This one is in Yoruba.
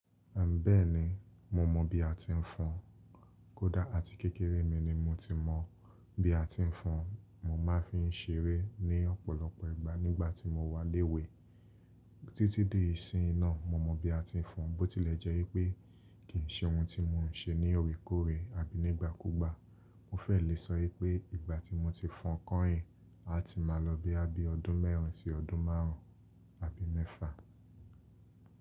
Àn bẹ́ẹ̀ni, mo mọ bí a ti ń fọn. Kódá àti kékeré mi ni mo ti mọ bí a ti ń fọn. Mo má fi ń ṣeré ní ọ̀pọ̀lọpọ̀ ìgbà nígbà tí mo wà léwè. Títí dí ìsìnyí náà, mo mọ bí a ti ń fọn. Bótílẹ̀ jẹ́ wipé kì í ṣe ohun tí mo ń ṣe ní orekòrè abí nígbàkúgbà. Mo fẹ́ le sọ wipé ìgbà tí mo ti fọn kányìn, a ti máa lọ boya bí ọdún mẹ́rin sí ọdún márùn-ún abí mẹ́fà.